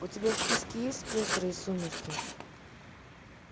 у тебя в списке есть пестрые сумерки